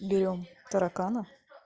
берём таракана